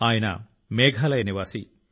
ఆయన మేఘాలయ నివాసి